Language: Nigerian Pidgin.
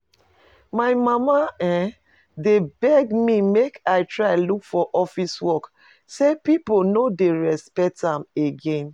My mama dey beg me make I try look for office work, say people no dey respect am again